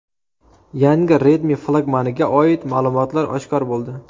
Yangi Redmi flagmaniga oid ma’lumotlar oshkor bo‘ldi.